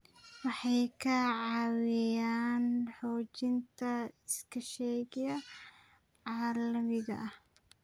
Waxay ka caawiyaan xoojinta iskaashiga caalamiga ah.